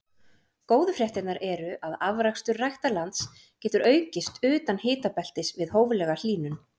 Góðu fréttirnar eru að afrakstur ræktarlands getur aukist utan hitabeltis við hóflega hlýnun.